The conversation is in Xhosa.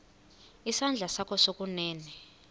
isandla sakho sokunene